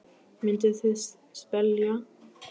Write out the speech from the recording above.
Mynduð þið vilja sjá þetta í öllum skólanum?